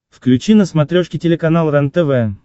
включи на смотрешке телеканал рентв